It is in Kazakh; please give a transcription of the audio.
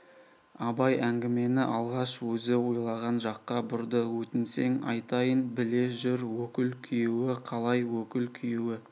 абай әңгімені алғаш өзі ойлаған жаққа бұрды өтінсең айтайын біле жүр өкіл күйеуі қалай өкіл күйеуі